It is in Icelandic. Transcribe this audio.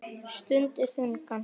Stundi þungan.